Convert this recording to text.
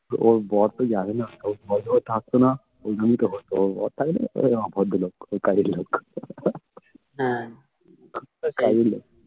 ওর বর তো জানে না ওর বর তো থাকতো না এগুলি তো হতো ওর বর থাকলে না এজন্যই offer দিলো